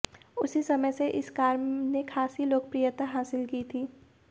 उसी समय से इस कार ने खासी लोकप्रियता हासिल की थी